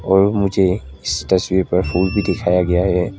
और मुझे इस तस्वीर पर फूल भी दिखाया गया है।